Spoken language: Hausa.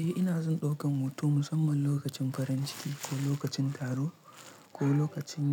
Eh ina son ɗaukan hoto musamman lokacin farin ciki ko lokacin taro ko lokacin